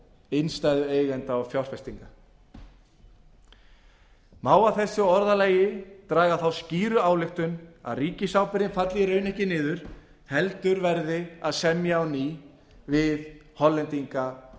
innstæðueigenda og fjárfesta má af þessu orðalagi draga þá skýru ályktun að ríkisábyrgðin falli í raun ekki niður heldur verði að semja á ný við hollendinga